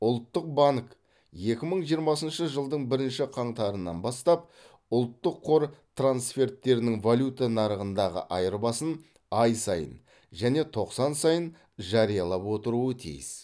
ұлттық банк екі мың жиырмасыншы жылдың бірінші қаңтарына бастап ұлттық қор трансферттерінің валюта нарығындағы айырбасын ай сайын және тоқсан сайын жариялап отыруы тиіс